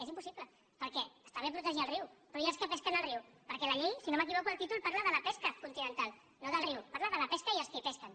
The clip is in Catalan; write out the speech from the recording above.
és impossible perquè està bé protegir el riu però i els que pesquen al riu perquè la llei si no m’equivoco el títol parla de la pesca continental no del riu parla de la pesca i dels que hi pesquen